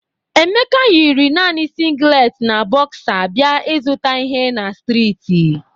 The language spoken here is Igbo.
Emeka yiri nani singlet na bọksa bia ịzụta ihe na streeti.